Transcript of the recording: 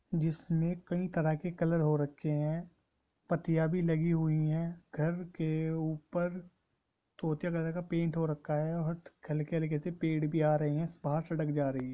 जिसमे कई तरह के कलर हो रखे है पट्टिया भी लगी हुई है घर के ऊपर तोते कलर का पेंट हो रखा है और हलके-हलके से पेड़ भी आ रहे है बाहर सड़क जा रही है।